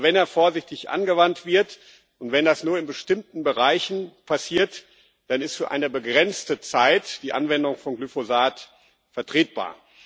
Aber wenn er vorsichtig angewandt wird und wenn das nur in bestimmten Bereichen passiert, dann ist für eine begrenzte Zeit die Anwendung von Glyphosat vertretbar.